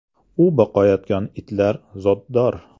“U boqayotgan itlar zotdor.